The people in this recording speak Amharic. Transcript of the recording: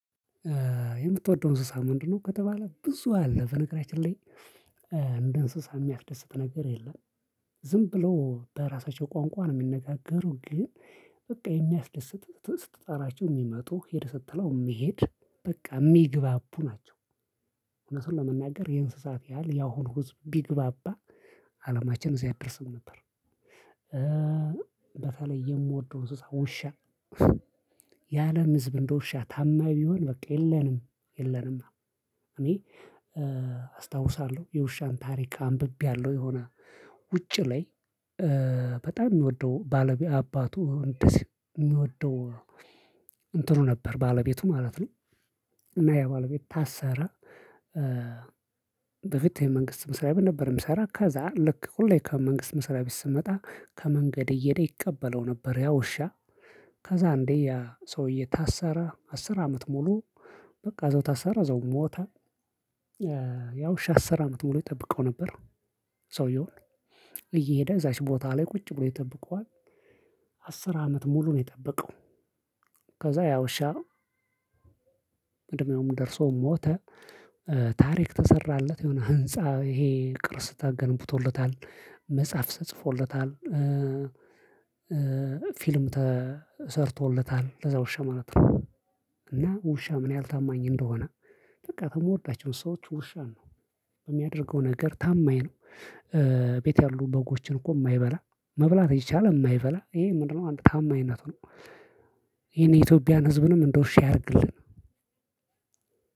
የምትወደው እንስሳ ምንድነው? ከተባለ ብዙ አለ በነገራችን ላይ። እንደ እንስሳ የሚያስደስት ነገር የለም። ዝም ብሎ በራሳቸው ቋንቋ ነው የሚነጋገሩ ግን። በቃ የሚያስደስት ስትጣራቸው የሚመጡ ሂድ ስትለው የሚሄድ በቃ የሚግባቡ ናቸው። እውነቱን ለመናገር የእንስሳት ያህል ያሁሉ ህዝብ ቢግባባ አለማችን እዚህ አይደርስም ነበር። በተለይ የምወደው እንስሳ ውሻ። የአለም ህዝብ እንደ ውሻ ታማኝ ቢሆን በቃ የለንም የለንማ። እኔ አስታውሳለሁ የውሻን ታሪክ አንብቤያለሁ። የሆነ ውጭ ላይ። በጣም ሚወደው ባለቤት አባቱ እንደዚህ እሚወደው እንትኑ ነበር ባለቤቱ ማለት ነው። እና ያ ባለቤት ታሰረ። በፊት የመንግስት መስሪያ ቤት ነበር የሚሰራ ከዛ ልክ ሁሌ ከመንግስት መስሪያ ቤት ስመጣ ከመንገድ እየሄደ ይቀበለው ነበር ያ ውሻ። ከዛ አንዴ ያ ሰውዬ ታሰረ አስር አመት ሙሉ በቃ እዛው ታሰረ እዛው ሞታ። ያ ውሻ አስር አመት ሙሉ ይጠብቀው ነበር። ሰውየውን እየሄደ እዛች ቦታ ላይ ቁጭ ብሎ ይጠብቀዋል። አስር አመት ሙሉ ነው የጠበቀው። ከዛ ያ ውሻ። እድሜውም ደርሶ ሞተ። ታሪክ ተሰራለት የሆነ ህንፃ ይሄ ቅርስ ተገንብቶለታል መጽሐፍ ተጽፎለታል። ፊልም ተሰርቶለታል ለዛ ውሻ ማለት ነው። እና ውሻ ምን ያህል ታማኝ እንደሆነ። በቃ በምወዳቸው እንስሳዎች ውሻ ነው። በሚያደርገው ነገር ታማኝ ነው። ቤት ያሉ በጎችን እኮ የማይበላ መብላት እየቻለ የማይበላ ይሄ ምንድነው አንድ ታማኝነቱ ነው። ይህን የኢትዮጵያን ህዝብንም እንደ ውሻ ያድርግልን።